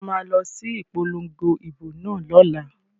So ma lọ sí ìpolongo ìbò náà lọ́la?